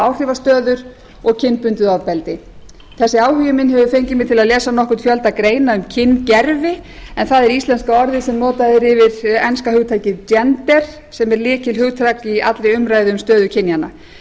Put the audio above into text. áhrifastöður og kynbundið ofbeldi þessi áhugi minn hefur fengið mig til að lesa nokkurn fjölda greina um kyngervi en það er íslenska orðið sem notað er yfir enska hugtakið gender sem er lykilhugtak í allri umræðu um stöðu kynjanna